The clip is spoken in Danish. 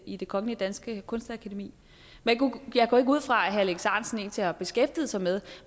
i det kongelige danske kunstakademi jeg går ikke ud fra at herre alex ahrendtsen egentlig har beskæftiget sig med